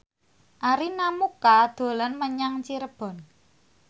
Arina Mocca dolan menyang Cirebon